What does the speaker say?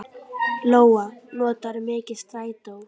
Lóa: Notarðu mikið strætó?